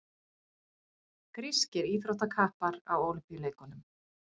Grískir íþróttakappar á Ólympíuleikunum.